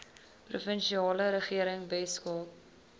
provinsiale regering weskaap